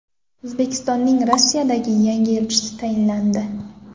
O‘zbekistonning Rossiyadagi yangi elchisi tayinlandi.